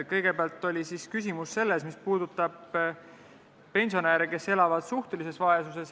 Kõigepealt oli küsimus pensionäride kohta, kes elavad suhtelises vaesuses.